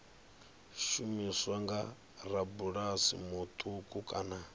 shumiswa nga rabulasi muṱuku kana